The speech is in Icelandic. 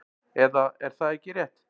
Eða er það ekki rétt?